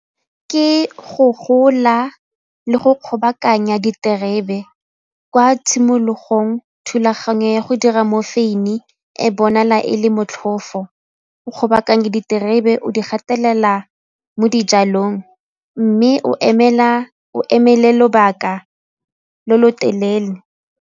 Ke go gola le go kgobokanya diterebe, kwa tshimologong thulaganyo ya go dira mo foun ing e bonala e le motlhofo, go bakang diterebe o di gatelela mo dijalong mme o emele lobaka lo lo telele.